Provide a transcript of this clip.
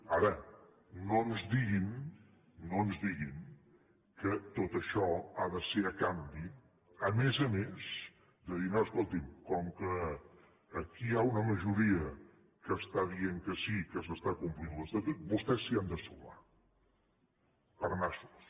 ara no ens diguin no ens diguin que tot això ha de ser a canvi a més a més de dir no escolti’m com que aquí hi ha una majoria que està dient que sí que s’està complint l’estatut vostès s’hi ha de sumar per nassos